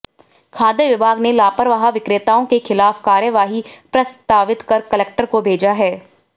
खाद्य विभाग ने लापरवाह विक्रेताओं के खिलाफ कार्यवाही प्रस्तावित कर कलेक्टर को भेजा है